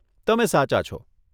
તમે સાચા છો.